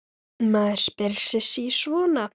Maður spyr sig sí svona.